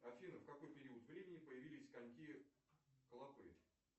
афина в какой период времени появились коньки клопы